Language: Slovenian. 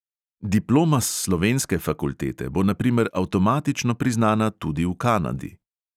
Diploma s slovenske fakultete bo na primer avtomatično priznana tudi v kanadi.